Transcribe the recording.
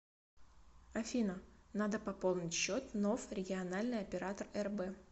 афина надо пополнить счет ноф региональный оператор рб